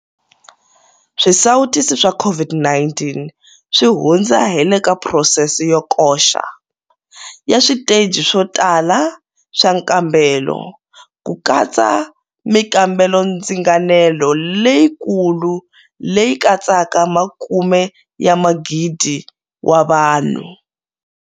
Swisawutisi swa COVID-19 swi hundza hi le ka phurosese yo koxa, ya switeji swo tala swa nkambelo, ku katsa mikambelondzinganelo leyikulu leyi katsaka makume ya magidi wa vanhu.